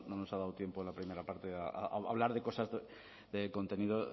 nos ha dado tiempo en la primera parte a hablar de cosas de contenido